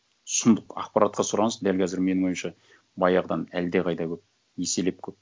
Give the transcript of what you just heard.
сұмдық ақпаратқа сұраныс дәл қазір менің ойымша баяғыдан әлдеқайда көп еселеп көп